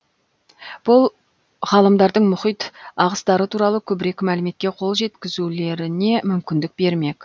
бұл ғалымдардың мұхит ағыстары туралы көбірек мәліметке қол жеткізулеріне мүмкіндік бермек